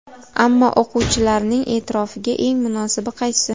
Ammo o‘quvchilarning e’tirofiga eng munosibi qaysi?